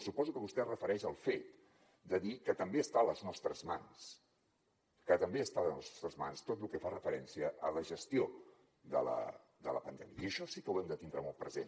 suposo que vostè es refereix al fet de dir que també està a les nostres mans tot lo que fa referència a la gestió de la pandèmia i això sí que ho hem de tindre molt present